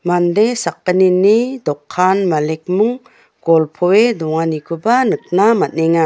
mande sakgnini dokkan malikming golpoe donganikoba nikna man·enga.